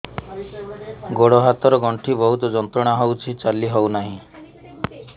ଗୋଡ଼ ହାତ ର ଗଣ୍ଠି ବହୁତ ଯନ୍ତ୍ରଣା ହଉଛି ଚାଲି ହଉନାହିଁ